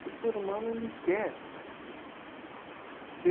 Que o ser humano ele quer